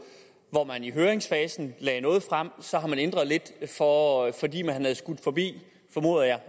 hvor man i høringsfasen lagde noget frem og så har man ændret lidt fordi man havde skudt forbi formoder jeg